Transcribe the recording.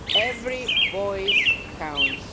Every voice counts.